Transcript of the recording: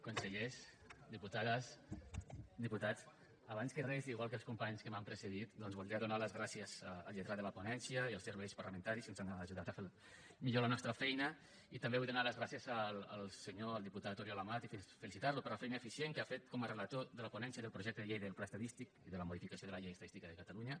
consellers diputades diputats abans que res igual que els companys que m’han precedit doncs voldria donar les gràcies al lletrat de la ponència i als serveis parlamentaris que ens han ajudat a fer millor la nostra feina i també vull donar les gràcies al senyor al diputat oriol amat i felicitar lo per la feina eficient que ha fet com a relator de la ponència del projecte de llei del pla estadístic i de la modificació de la llei estadística de catalunya